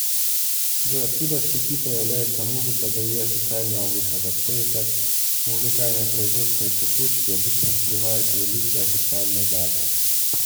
джой откуда в сети появляется музыка до ее официального выхода кто и как в музыкальной производственной цепочке обычно сливает релиз до официальной даты